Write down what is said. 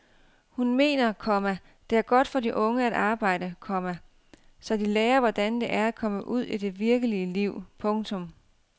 Hun mener, komma det er godt for de unge at arbejde, komma så de lærer hvordan det er at komme ud i det virkelige liv. punktum